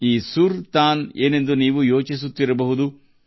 ಇದೇನು ಸುರ್ ತಾನ್ ನಿಮಗೆ ಆಶ್ಚರ್ಯವಾಗಿರಬಹುದು